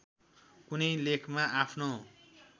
कुनै लेखमा आफ्नो